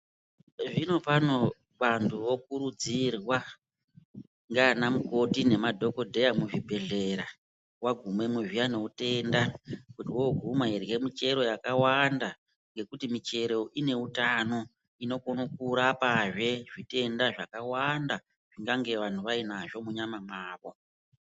Zvinopano vanthu vokurudzirwa, ndiana mukoti nemadhokodheya muzvibhedhlera, wagumemwo zviyani neutenda, kuti wooguma irye michero yakawanda ngekuti michero ine utano. Inokone kurapazve zvitenda zvakawanda zvingange vanhu vainazvo munyama mwavo.